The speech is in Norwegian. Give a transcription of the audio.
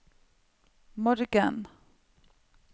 morgen